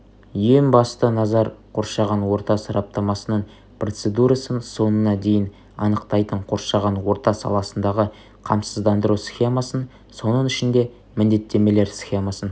ең басты назар қоршаған орта сараптамасының процедурасын соңына дейін анықтайтын қоршаған орта саласындағы қамсыздандыру схемасын соның ішінде міндеттемелер схемасын